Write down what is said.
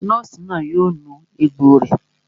Nọ́ọ̀sì náà yóò nu egbò rẹ̀